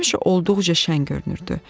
Həmişə olduqca şən görünürdü.